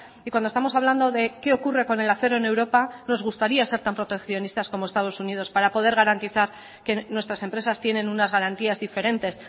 y cuando estamos hablando de qué ocurre con el acero en europa nos gustaría ser tan proteccionistas como estados unidos para poder garantizar que nuestras empresas tienen unas garantías diferentes